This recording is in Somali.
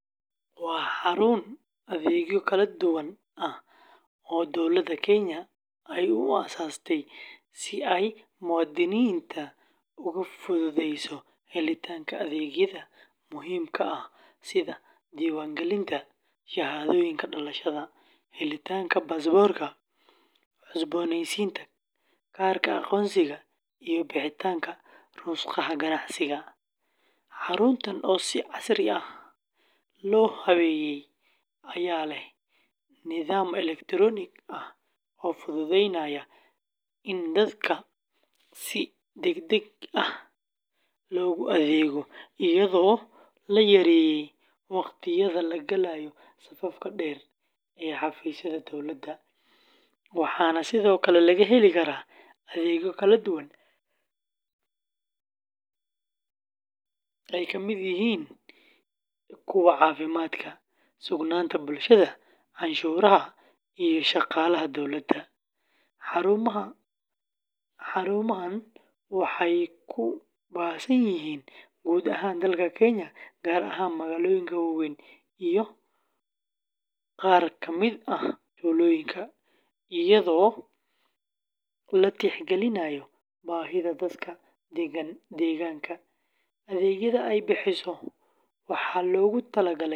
waa xarun adeegyo kala duwan ah oo dowladda Kenya ay u aasaastay si ay muwaadiniinta ugu fududeyso helitaanka adeegyada muhiimka ah sida diiwaangelinta shahaadooyinka dhalashada, helitaanka baasaboorka, cusboonaysiinta kaararka aqoonsiga, iyo bixinta rukhsadaha ganacsiga; xaruntan oo si casri ah loo habeeyey ayaa leh nidaam elektaroonig ah oo fududeynaya in dadka si degdeg ah loogu adeego, iyadoo la yareeyey waqtiyada la galayo safafka dhaadheer ee xafiisyada dowladda, waxana sidoo kale laga heli karaa adeegyo kale oo ay ka mid yihiin kuwa caafimaadka, sugnaanta bulshada, canshuuraha, iyo shaqaalaha dowladda; xarumaha waxay ku baahsan yihiin guud ahaan dalka Kenya, gaar ahaan magaalooyinka waaweyn iyo qaar ka mid ah tuulooyinka, iyadoo la tixgelinayo baahida dadka deegaanka; adeegyada ay bixiso waxaa loogu talagalay.